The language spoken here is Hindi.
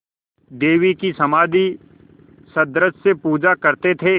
देवी की समाधिसदृश पूजा करते थे